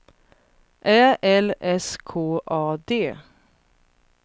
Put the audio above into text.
Ä L S K A D